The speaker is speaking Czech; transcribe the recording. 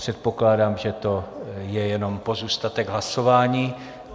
Předpokládám, že to je jenom pozůstatek hlasování.